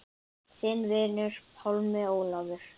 Þinn vinur, Pálmi Ólafur.